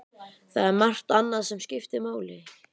Það er margt annað sem skiptir máli.